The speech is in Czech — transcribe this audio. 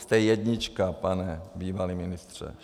Jste jednička, pane bývalý ministře!